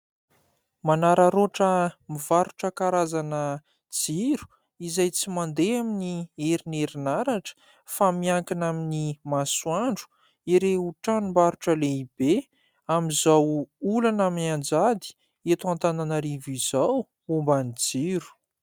Manararaotra mivarotra karazana jiro izay tsy mandeha aminy herin'ny herinaratra fa miankina amin'ny masoandro, ireo tranombarotra lehibe. Amin'izao olana mianjady eto Antananarivo izao momba ny jiro.